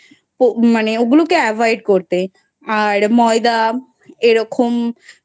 মানে ওগুলোকে Avoid করতে ময়দা এরকম